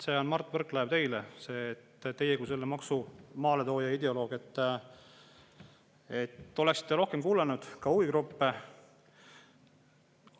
See on, Mart Võrklaev, teile: teie kui selle maksu maaletooja ja ideoloog oleksite võinud rohkem kuulata ka huvigruppe.